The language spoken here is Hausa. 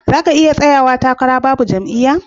Zaka iya tsayawa takara Babu jam'iya